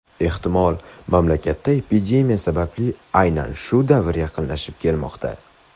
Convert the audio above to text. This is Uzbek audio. Ehtimol, mamlakatda epidemiya sababli aynan shunday davr yaqinlashib kelmoqda.